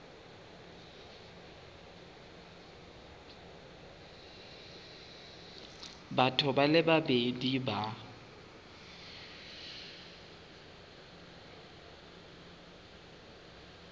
batho ba le babedi ba